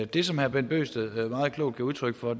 det som herre bent bøgsted meget klogt gav udtryk for